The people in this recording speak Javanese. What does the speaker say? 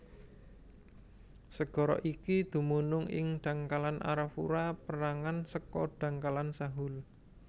Segara iki dumunung ing dhangkalan Arafura pérangan saka dhangkalan Sahul